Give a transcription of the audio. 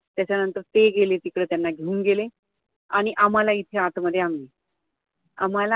त्याच्यानंतर ते गेले, तिकडे त्यांना घेऊन गेले आणि आम्हाला इथे आतमध्ये आम्ही आम्हाला